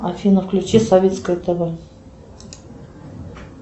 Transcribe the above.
афина включи советское тв